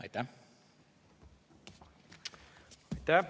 Aitäh!